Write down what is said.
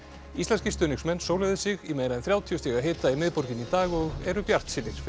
íslenskir stuðningsmenn sig í meira en þrjátíu stiga hita í miðborginni í dag og eru bjartsýnir fyrir